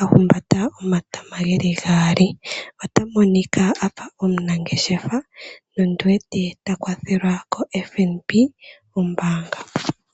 ahumbata omatama geli gaali ota monika afa omunangeahefa nondi wete ta kwathelwa koFNB kombaanga.